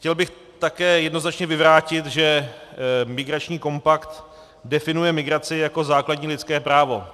Chtěl bych také jednoznačně vyvrátit, že migrační kompakt definuje migraci jako základní lidské právo.